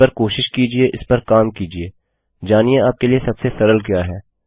इस पर कोशिश कीजिए इस पर काम कीजिए जानिये आपके लिए सबसे सरल क्या है